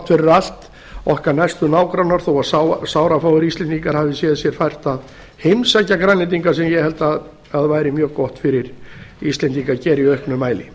fyrir allt okkar næstu nágrannar þó að sárafáir íslendingar hafi séð sér fært að heimsækja grænlendinga sem ég held að væri mjög gott fyrir íslendinga að gera í auknum mæli